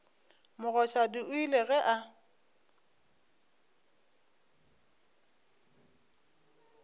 mogoshadi o ile ge a